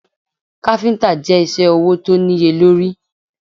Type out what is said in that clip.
Káfíntà je isẹ́ ọwọ̀ tó níye lórí.